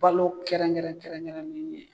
Balo kɛrɛnkɛrɛn kɛrɛnkɛrɛnnen ye